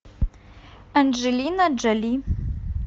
анджелина джоли